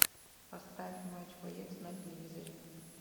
поставь матч боец на телевизоре